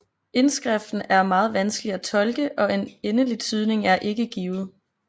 Indskriften er meget vanskelig at tolke og en endelig tydning er ikke givet